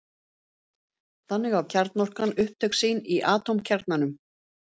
Þannig á kjarnorkan upptök sín í atómkjarnanum.